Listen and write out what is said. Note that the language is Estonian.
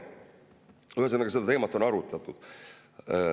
Ühesõnaga, seda teemat on arutatud.